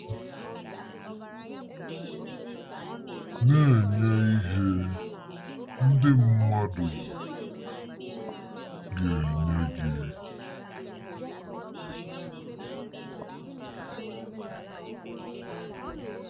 Na-enye ihe, ndị mmadụ ga-enye gị